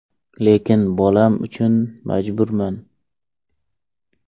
Lekin bolam uchun majburman.